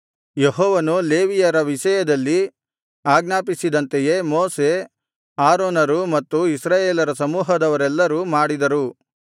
ಯೆಹೋವನು ಲೇವಿಯರ ವಿಷಯದಲ್ಲಿ ಆಜ್ಞಾಪಿಸಿದಂತೆಯೇ ಮೋಶೆ ಆರೋನರೂ ಮತ್ತು ಇಸ್ರಾಯೇಲರ ಸಮೂಹದವರೆಲ್ಲರೂ ಮಾಡಿದರು